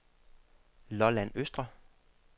Lolland Østre